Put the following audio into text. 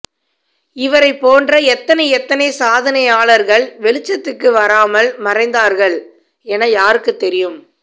இவரைபோன்ற எத்தனை எத்தனை சாதனையாளர்கள் வெளிச்சத்துக்கு வராமல் மறைந்தார்கள் என யாருக்கு தெரியும்